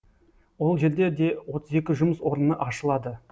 ол жерде де отыз екі жұмыс орыны ашылады